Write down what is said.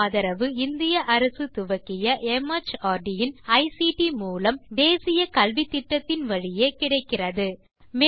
இதற்கு ஆதரவு இந்திய அரசு துவக்கிய மார்ட் இன் ஐசிடி மூலம் தேசிய கல்வித்திட்டத்தின் வழியே கிடைக்கிறது